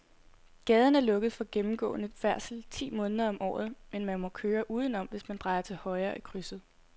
Gaden er lukket for gennemgående færdsel ti måneder om året, men man kan køre udenom, hvis man drejer til højre i krydset.